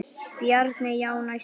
Bjarni: Já, næsta dag.